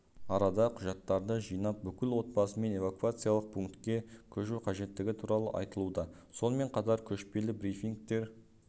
арада құжаттарды жинап бүкіл отбасымен эвакуациялық пунктке көшу қажеттігі туралы айтылуда сонымен қатар көшпелі брифингтер